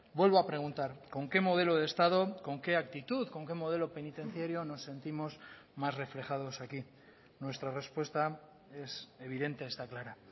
vuelvo a preguntar con qué modelo de estado con qué actitud con qué modelo penitenciario nos sentimos más reflejados aquí nuestra respuesta es evidente está clara